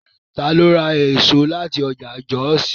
Ta ló ra èso láti ọjà Jọ́òsì?